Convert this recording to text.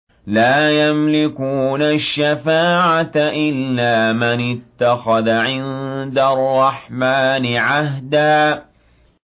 لَّا يَمْلِكُونَ الشَّفَاعَةَ إِلَّا مَنِ اتَّخَذَ عِندَ الرَّحْمَٰنِ عَهْدًا